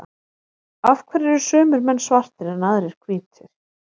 af hverju eru sumir menn svartir en aðrir hvítir